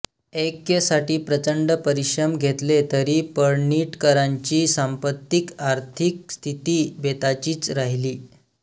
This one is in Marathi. ऐक्यसाठी प्रचंड परिश्रम घेतले तरी पळणिटकरांची सांपत्तिक आर्थिक स्थिती बेताचीच राहिली